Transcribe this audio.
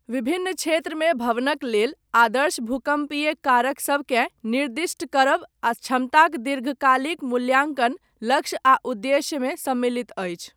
विभिन्न क्षेत्रमे भवनक लेल, आदर्श भूकम्पीय कारक सबकेँ निर्दिष्ट करब, आ क्षमताक दीर्घकालिक मूल्याङ्कन, लक्ष्य आ उद्देश्यमे सम्मिलित अछि।